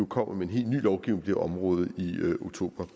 kommer med en helt ny lovgivning på det område i oktober